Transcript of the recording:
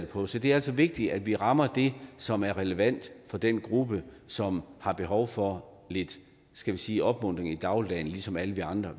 på så det er altså vigtigt at vi rammer det som er relevant for den gruppe som har behov for lidt skal vi sige opmuntring i dagligdagen ligesom alle vi andre